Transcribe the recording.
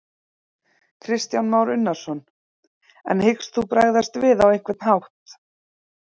Kristján Már Unnarsson: En hyggst þú bregðast við á einhvern hátt?